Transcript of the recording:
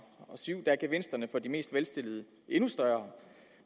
syv gevinsterne for de velstillede er endnu større